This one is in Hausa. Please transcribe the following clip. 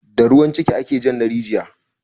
Da ruwan ciki ake jan na rijiya